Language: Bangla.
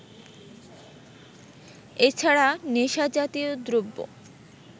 এ ছাড়া নেশাজাতীয় দ্রব্য